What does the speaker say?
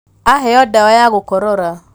Aheo ndawa ya gũkorora